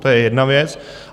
To je jedna věc.